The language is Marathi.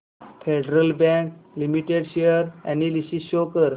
federal bank limited share analysis show कर